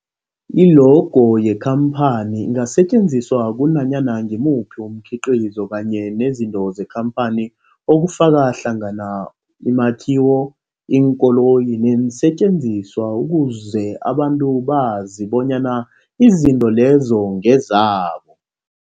I-logo yekhamphani ingasetjenziswa kunanyana ngimuphi umkhiqizo kanye nezinto zekhamphani okufaka hlangana imakhiwo, iinkoloyi neensentjenziswa ukuze abantu bazi bonyana izinto lezo ngezabo.